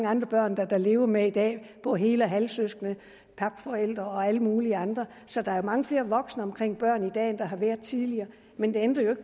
mange børn der lever med i dag og hel og halvsøskende papforældre og alle mulige andre så der er mange flere voksne omkring børn i dag end der har været tidligere men det ændrer jo